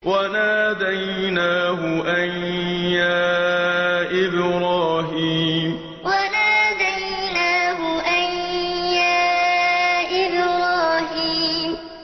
وَنَادَيْنَاهُ أَن يَا إِبْرَاهِيمُ وَنَادَيْنَاهُ أَن يَا إِبْرَاهِيمُ